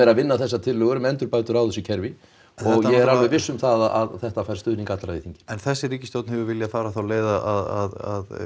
að vinna þessar tillögur um endurbætur á þessu kerfi og ég er alveg viss um það að þetta fær stuðning allra í þingi en þessi ríkisstjórn hefur viljað fara þá leið að